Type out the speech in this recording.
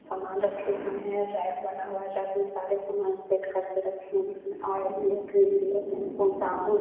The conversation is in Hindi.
सामान रखे हुए है रैक बना हुआ है रैक में सारे सामान सेट करके रखे है उसमे ऑइल है क्रीम भी है शैम्पू साबुन--